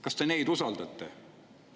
Kas te neid usaldate?